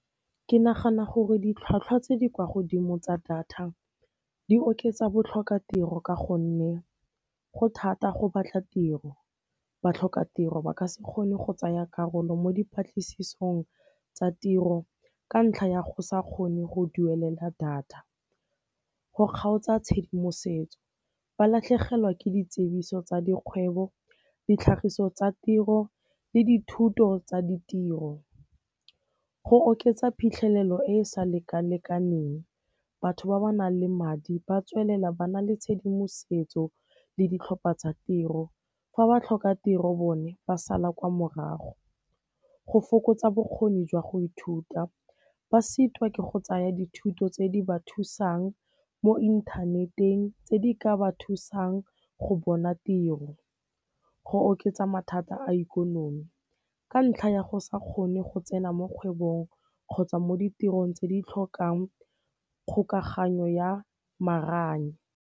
Ke nagana gore ditlhwatlhwa tse di kwa godimo tsa data di oketsa botlhokatiro ka gonne go thata go batla tiro, batlhokatiro ba ka se kgone go tsaya karolo mo dipatlisisong tsa tiro ka ntlha ya go sa kgone go duelela data. Go kgaotsa tshedimosetso, ba latlhegelwa ke ditsibiso tsa dikgwebo, ditlhagiso tsa tiro le dithuto tsa ditiro. Go oketsa phitlhelelo e e sa lekalekaneng, batho ba ba nang le madi ba tswelela ba na le tshedimosetso le ditlhopha tsa tiro, fa batlhokatiro bone ba sala kwa morago. Go fokotsa bokgoni jwa go ithuta, ba sitwa ke go tsaya dithuto tse di ba thusang mo inthaneteng tse di ka ba thusang go bona tiro. Go oketsa mathata a ikonomi, ka ntlha ya go sa kgone go tsena mo kgwebong kgotsa mo ditirong tse di tlhokang kgokaganyo ya maranya.